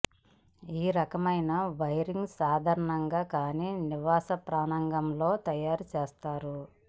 ఈ రకమైన వైరింగ్ సాధారణంగా కాని నివాస ప్రాంగణంలో తయారు చేస్తారు